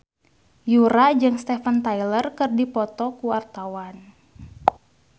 Yura jeung Steven Tyler keur dipoto ku wartawan